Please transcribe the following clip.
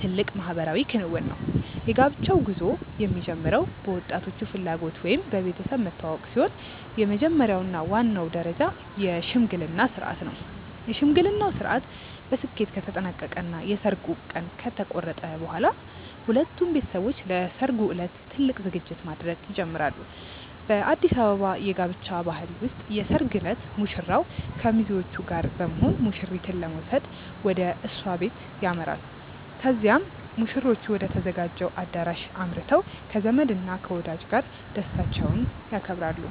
ትልቅ ማህበራዊ ክንውን ነው። የጋብቻው ጉዞ የሚጀምረው በወጣቶቹ ፍላጎት ወይም በቤተሰብ መተዋወቅ ሲሆን፣ የመጀመሪያው እና ዋናው ደረጃ የሽምግልና ሥርዓት ነው። የሽምግልናው ሥርዓት በስኬት ከተጠናቀቀ እና የሰርጉ ቀን ከተቆረጠ በኋላ፣ ሁለቱም ቤተሰቦች ለሠርጉ ዕለት ትልቅ ዝግጅት ማድረግ ይጀምራሉ። በአዲስ አበባ የጋብቻ ባህል ውስጥ የሰርግ ዕለት ሙሽራው ከሚዜዎቹ ጋር ሆኖ ሙሽሪትን ለመውሰድ ወደ እሷ ቤት ያመራል። ከዚያም ሙሽሮቹ ወደ ተዘጋጀው አዳራሽ አምርተው ከዘመድ እና ከወዳጅ ጋር ደስታቸውን ያከብራሉ።